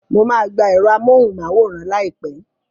Mo máa gba ẹ̀rọ amóhùnmáwòrán láìpẹ́